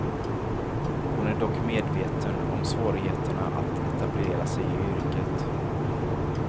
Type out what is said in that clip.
Hon är dock medveten om svårigheterna att etablera sig i yrket.